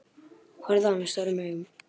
Horfði á hana stórum augum.